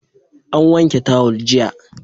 An wanke tawul jiya.